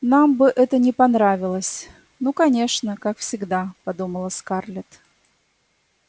нам бы это не понравилось ну конечно как всегда подумала скарлетт